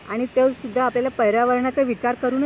आणि तेसुद्धा आपल्याला पर्यावरणाचा विचार करूनच करावं लागेल.